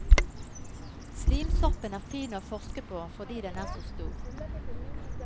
Slimsoppen er fin å forske på fordi den er så stor.